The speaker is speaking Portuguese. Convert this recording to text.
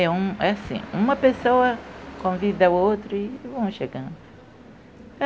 é um. É assim, uma pessoa convida a outra e vão chegando.